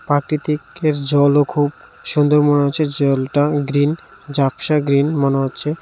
প্রাকৃতিক্যের জলও খুব সুন্দর মনে হচ্ছে জলটা গ্ৰিন ঝাপসা গ্রিন মনে হচ্ছে .